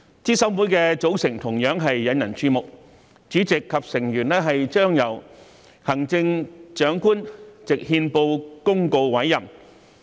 資審會的組成同樣引人注目，主席及成員將由行政長官藉憲報公告委任。